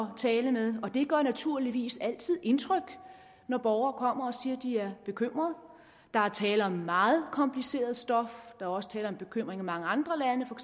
at tale med og det gør naturligvis altid indtryk når borgere kommer og siger de er bekymrede der er tale om et meget kompliceret stof der er også tale om bekymring i mange andre lande for